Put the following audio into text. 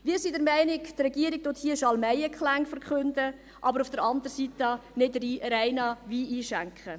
Wir sind der Meinung, dass die Regierung hier Schalmeienklänge verkündet, aber auf der anderen Seite keinen reinen Wein einschenkt.